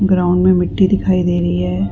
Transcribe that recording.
Ground में मिट्टी दिखाई दे रही है।